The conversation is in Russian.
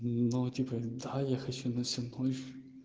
но типо да я хочу на всю ночь